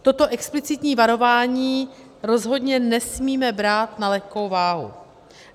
Toto explicitní varování rozhodně nesmíme brát na lehkou váhu.